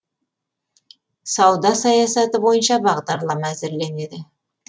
сауда саясаты бойынша бағдарлама әзірленеді